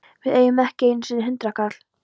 Við eigum ekki einu sinni hundraðkall!